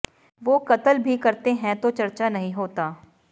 ਵੋ ਕਤਲ ਭੀ ਕਰਤੇ ਹੈਂ ਤੋ ਚਰਚਾ ਨਹੀਂ ਹੋਤਾ